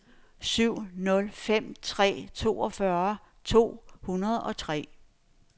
syv nul fem tre toogfyrre to hundrede og tre